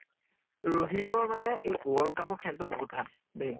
ৰহিতৰ মানে এই world cup ৰ খেল টো বহুত ভাল, দেই।